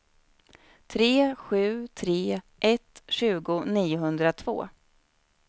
tre sju tre ett tjugo niohundratvå